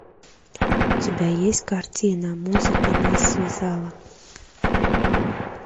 у тебя есть картина музыка нас связала